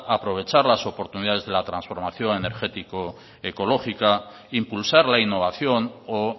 a aprovechar las oportunidades de la transformación energético ecológica impulsar la innovación o